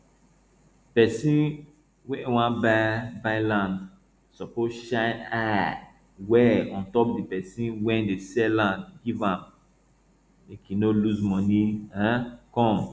person wey wan buy buy land suppose shine eye well on top the person wey dey sell land give am make e no lose money um come